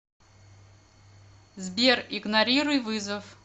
сбер игнорируй вызов